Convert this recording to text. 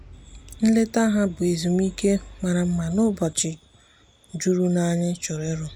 nleta ha bụ ezumike mara mma n’ụbọchị juru m anya n’ịchọ ọrụ.